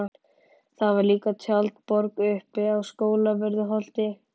Það var líka tjaldborg uppi á Skólavörðuholti.